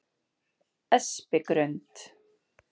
Espigrund